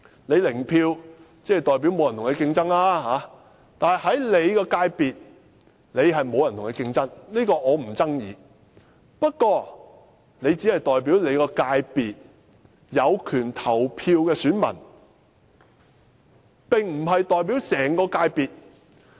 "零票"代表沒有人與他競爭，我且不爭議其界別沒有人與他競爭這一點，但他只是代表其界別有權投票的選民，並非代表整個界別。